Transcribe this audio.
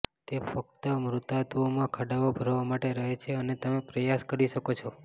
તે ફક્ત મૃતાત્વોમાં ખાડાઓ ભરવા માટે રહે છે અને તમે પ્રયાસ કરી શકો છો